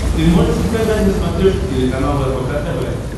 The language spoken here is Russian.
ты можешь показать на смотрешке телеканал рбк тв